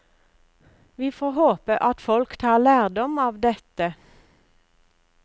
Vi får håpe at folk tar lærdom av dette.